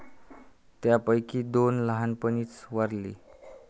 त्यांपैकी दोन लहानपणीच वारली.